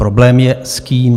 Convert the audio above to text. Problém je, s kým.